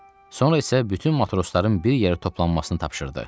Sonra isə bütün matrosların bir yerə toplanmasını tapşırdı.